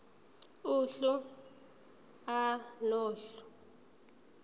uhlu a nohlu